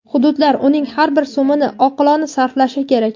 hududlar uning har bir so‘mini oqilona sarflashi kerak.